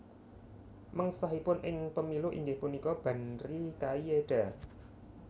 Mengsahipun ing Pemilu inggih punika Banri Kaieda